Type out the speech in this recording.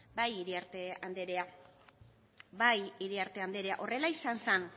bai iriarte andrea bai iriarte andrea horrela izan zan